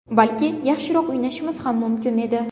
Balki yaxshiroq o‘ynashimiz ham mumkin edi.